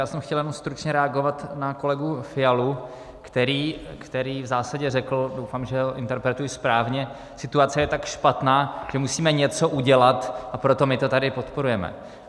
Já jsem chtěl jenom stručně reagovat na kolegu Fialu, který v zásadě řekl, doufám, že ho interpretuji správně: situace je tak špatná, že musíme něco udělat, a proto my to tady podporujeme.